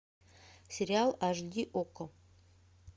сериал аш ди окко